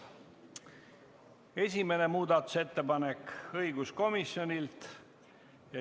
Esimene muudatusettepanek on õiguskomisjonilt.